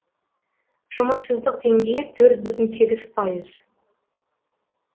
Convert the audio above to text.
жұмыссыздық деңгейі төрт бүтін сегіз пайыз